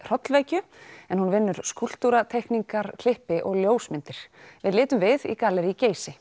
hrollvekju en hún vinnur skúlptúra teikningar klippi og ljósmyndir við litum við í gallerí Geysi